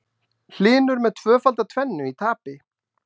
Hlynur með tvöfalda tvennu í tapi